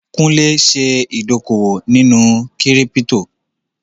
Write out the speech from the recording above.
Kúnlé ṣe ìdókòwò nínú kírípítò